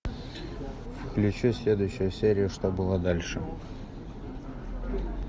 включи следующую серию что было дальше